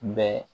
Bɛ